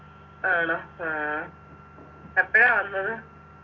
ആണോ ആഹ് എപ്പഴാ വന്നത്